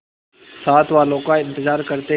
साथ वालों का इंतजार करते